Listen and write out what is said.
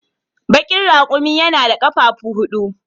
Bakin raƙumi yana da ƙafafu huɗu.